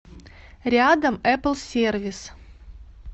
рядом эпплсервис